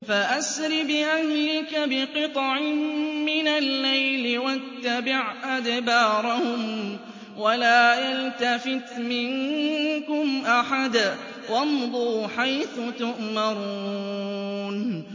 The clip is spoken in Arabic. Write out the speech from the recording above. فَأَسْرِ بِأَهْلِكَ بِقِطْعٍ مِّنَ اللَّيْلِ وَاتَّبِعْ أَدْبَارَهُمْ وَلَا يَلْتَفِتْ مِنكُمْ أَحَدٌ وَامْضُوا حَيْثُ تُؤْمَرُونَ